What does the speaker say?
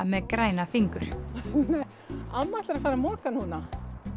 með græna fingur amma ætlar að fara að moka núna